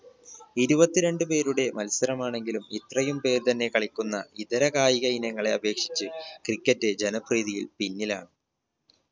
ഇരുപത്തിരണ്ട് പേരുടെ മത്സരമാണെങ്കിലും ഇത്രയും പേര് തന്നെ കളിക്കുന്ന ഇതര കായിക ഇനങ്ങളെ അപേക്ഷിച്ച് cricket ജനപ്രീതിയിൽ പിന്നിലാണ്.